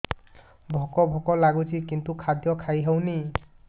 ଭୋକ ଭୋକ ଲାଗୁଛି କିନ୍ତୁ ଖାଦ୍ୟ ଖାଇ ହେଉନି